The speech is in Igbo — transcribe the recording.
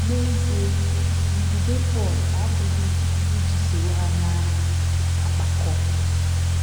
N’ezie, nzube Pọl abụghị iji soro ha na - akpakọ.